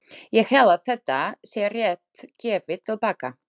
Ég held að þetta sé rétt gefið til baka.